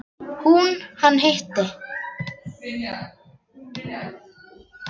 Hún: Hann hitti.